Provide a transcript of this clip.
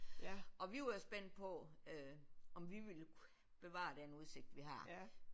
Og vi var jo spændt på øh om vi ville bevare den udsigt vi har